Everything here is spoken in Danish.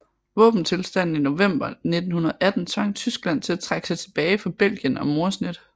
Våbentilstanden i november 1918 tvang Tyskland til at trække sig tilbage fra Belgien og Moresnet